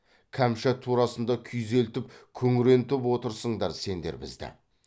кәмшат турасында күйзелтіп күңрентіп отырсыңдар сендер бізді